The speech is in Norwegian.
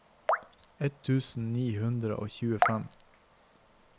ett tusen ni hundre og tjuefem